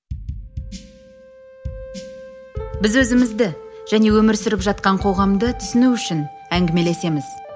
біз өзімізді және өмір сүріп жатқан қоғамды түсіну үшін әңгімелесеміз